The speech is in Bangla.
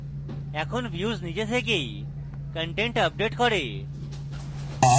এখন views নিজে থেকেই content আপডেট করে